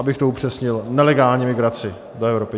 Abych to upřesnil - nelegální migraci do Evropy.